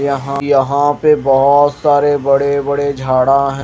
यहायहां पे बहुत सारे बड़े-बड़े झाड़ा है।